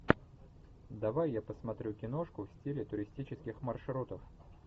давай я посмотрю киношку в стиле туристических маршрутов